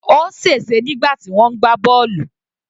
Ó sè se nígbà tí wọ́n ń gbá bọ́ọ̀lù.